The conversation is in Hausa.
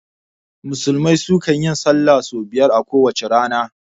Musulmai su kan yin sallah sau biyar a kowace rana